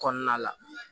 Kɔnɔna la